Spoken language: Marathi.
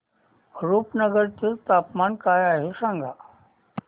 रुपनगर चे तापमान काय आहे सांगा